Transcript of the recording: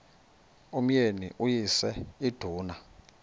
umyeni uyise iduna